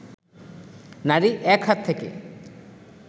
নারী এক হাত থেকে